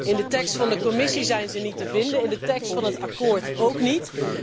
In de tekst van de Commissie zijn ze niet te vinden, in de tekst van het akkoord ook niet.